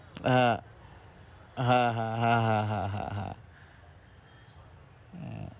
হ্যাঁ। হ্যাঁ হ্যাঁ হ্যাঁ হ্যাঁ হ্যাঁ হম